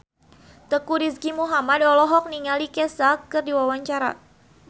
Teuku Rizky Muhammad olohok ningali Kesha keur diwawancara